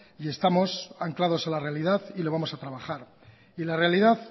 y estamos anclados a la realidad y lo vamos a trabajar la realidad